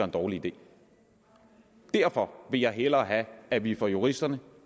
en dårlig idé derfor vil jeg hellere have at vi får juristerne